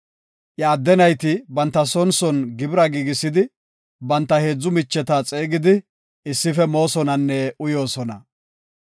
Iya adde nayti banta son son gibira giigisidi, banta heedzu micheta xeegidi issife moosonanne uyoosona.